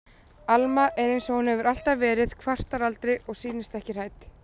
Alma er einsog hún hefur alltaf verið, kvartar aldrei og sýnist ekki hrædd.